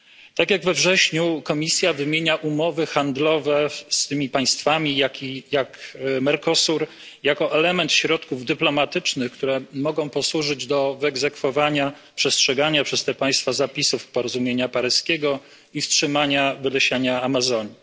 Tak jak we wrześniu, Komisja wymienia umowy handlowe z państwami Mercosuru, jako element środków dyplomatycznych, które mogą posłużyć do wyegzekwowania przestrzegania przez te państwa zapisów porozumienia paryskiego i wstrzymania wylesiania Amazonii.